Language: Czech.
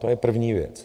To je první věc.